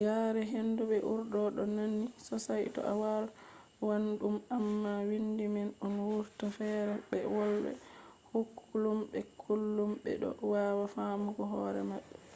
yare hindu be urdu ɗo nandi sosai to a wolwan ɗum amma windi man bo wurtan ferefere be wolde kullum be kullum ɓe ɗo wawa famugo hore maɓɓe